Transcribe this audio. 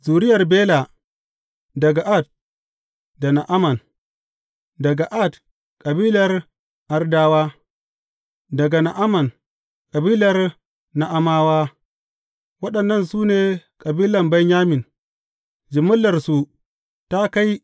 Zuriyar Bela daga Ard da Na’aman, daga Ard, kabilar Ardawa; daga Na’aman, kabilar Na’amawa; Waɗannan su ne kabilan Benyamin, jimillarsu ta kai